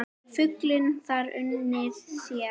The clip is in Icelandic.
Fuglinn þar unir sér.